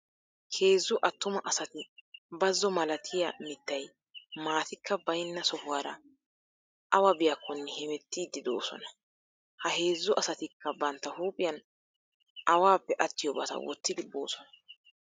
Heezzu attuma asati bazzo malatiya mittay maatikka baynna sohuwara awa biyakkonne hemettiiddi de'oosona. Ha heezzu asatikka bantta huuphiyan awaappe attiyobata wottidi boosona.